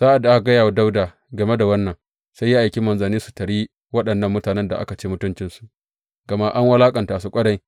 Sa’ad da aka gaya wa Dawuda game da wannan, sai ya aiki manzanni su taryi waɗannan mutanen da aka ci mutuncinsu, gama an wulaƙanta su ƙwarai.